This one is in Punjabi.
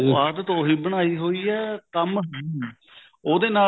ਆਦਤ ਉਹੀ ਬਣਾਈ ਹੋਈ ਐ ਕੰਮ ਹੈ ਨੀ ਉਹਦੇ ਨਾਲ